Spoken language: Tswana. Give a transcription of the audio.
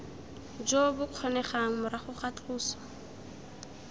jo bokgonegang morago ga tloso